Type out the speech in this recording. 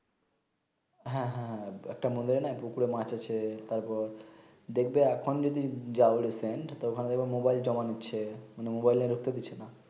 হ্যাঁ হ্যাঁ একটা মন্দিরে নাই পুকুরে মাছ আছে টার পর দেখবে এখন যদি যাও রিসেন্ট তো ওখানে মোবাইল জমা নিচ্ছে মানে মোবাইল নিয়ে ঢুকতে দিচ্ছে না